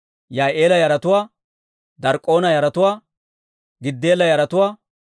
Yaa'ila yaratuwaa, Dark'k'oona yaratuwaa, Giddeela yaratuwaa,